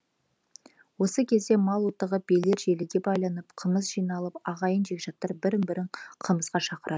осы кезде мал отығып биелер желіге байланып қымыз жиналып ағайын жекжаттар бірін бірі қымызға шақырады